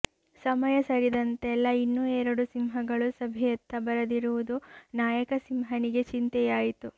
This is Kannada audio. ಸಮಯ ಸರಿದಂತೆಲ್ಲ ಇನ್ನೂ ಎರಡು ಸಿಂಹಗಳು ಸಭೆಯತ್ತ ಬರದಿರುವುದು ನಾಯಕ ಸಿಂಹನಿಗೆ ಚಿಂತೆಯಾಯಿತು